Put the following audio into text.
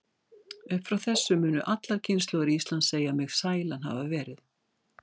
Upp frá þessu munu allar kynslóðir Íslands segja mig sælan hafa verið.